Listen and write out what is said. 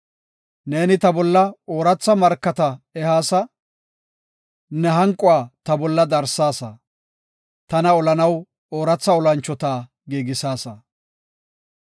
Neeni ta bolla ooratha markata ehaasa; ne hanquwa ta bolla darsaasa; tana olanaw ooratha olanchota giigisaasa.